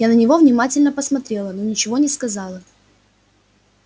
я на него внимательно посмотрела но ничего не сказала